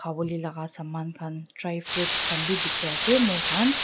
khawolae laka saman khan dry fruits khan bi dikhiase moikhan.